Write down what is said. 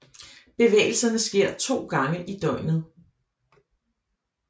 Bevægelserne sker to gange i døgnet